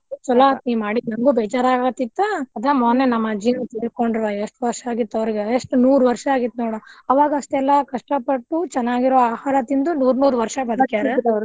ಚಲೋ ಆತ್ ನೀ ಮಾಡಿದ್ದ್ ನಂಗು ಬೇಜಾರಾಗತಿತ್ತ ಅದ ಮೊನ್ನೆ ನಮ್ಮ ಅಜ್ಜಿನೂ ತೀರ್ಕೊಂಡ್ರವಾ ಎಷ್ಟ್ ವರ್ಷಾ ಆಗಿತ್ತವ್ರಿಗೆ ಎಷ್ಟ್ ನೂರ್ ವರ್ಷಾ ಆಗಿತ್ತ ನೋಡಾ. ಅವಾಗ ಅಷ್ಟೆಲ್ಲಾ ಕಷ್ಟಾ ಪಟ್ಟು ಚನ್ನಾಗಿರೋ ಆಹಾರ ತಿಂದು ನೂರ್ ನೂರ್ ವರ್ಷಾ .